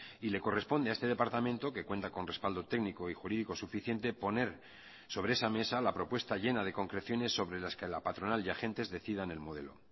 y le corresponde a este departamento que cuenta con respaldo técnico y jurídico suficiente poner sobre esa mesa la propuesta llena de concreciones sobre las que la patronal y agentes decidan el modelo